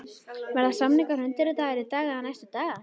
Verða samningar undirritaðir í dag eða næstu daga.